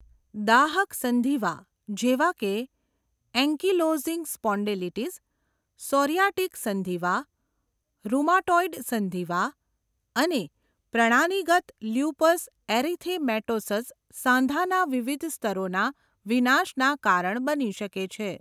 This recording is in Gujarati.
દાહક સંધિવા જેવા કે એન્કીલોઝિંગ સ્પોન્ડિલિટિસ, સૉરિયાટિક સંધિવા, રૂમાટોઈડ સંધિવા અને પ્રણાલીગત લ્યુપસ એરિથેમેટોસસ સાંધાના વિવિધ સ્તરોના વિનાશના કારણ બની શકે છે.